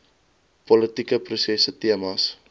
politieke prosesse temas